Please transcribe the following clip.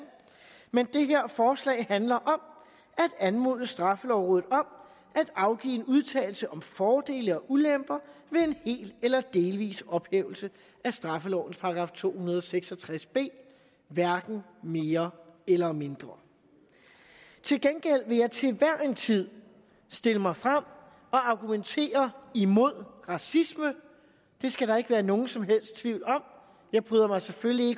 men det her forslag handler om at anmode straffelovrådet om at afgive en udtalelse om fordele og ulemper ved en hel eller delvis ophævelse af straffelovens § to hundrede og seks og tres b hverken mere eller mindre til gengæld vil jeg til hver en tid stille mig frem og argumentere imod racisme det skal der ikke være nogen som helst tvivl om jeg bryder mig selvfølgelig